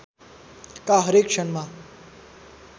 का हरेक क्षणमा